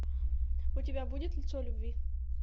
у тебя будет лицо любви